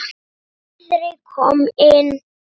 Friðrik kom inn.